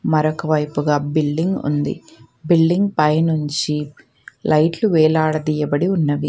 మరొకవైపుగా building ఉంది building పైనుంచి లైట్లు వేలాడదియబడి ఉన్నవి.